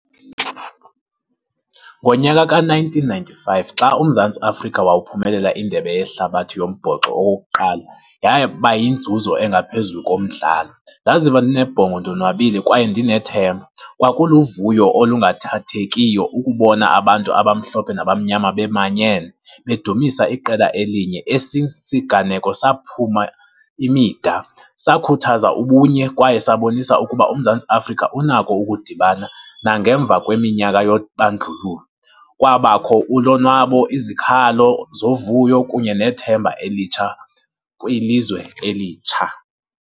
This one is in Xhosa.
Ngonyaka ka-nineteen ninety-five xa uMzantsi Afrika wawuphumelela indebe yehlabathi yombhoxo owokokuqala, yaba yinzuzo engaphezulu komdlalo. Ndaziva ndinebhongo, ndonwabile kwaye ndinethemba. Kwakuluvuyo olungathathekiyo ukubona abantu abamhlophe nabamnyama bemanyene, bedumisa iqela elinye. Esi siganeko saphuma imida, sakhuthaza ubunye kwaye sabonisa ukuba uMzantsi Afrika unako ukudibana nangemva kweminyaka yobandlululo. Kwabakho ulonwabo, izikhalo zovuyo kunye nethemba elitsha kwilizwe elitsha.